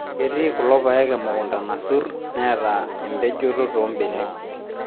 Ketii kulo paek emukunta nasurr neeta empejoto toombenek